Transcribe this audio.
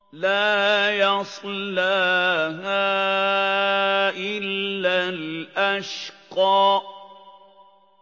لَا يَصْلَاهَا إِلَّا الْأَشْقَى